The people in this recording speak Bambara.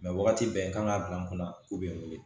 wagati bɛɛ kan ka bila n kunna k'u bɛ wele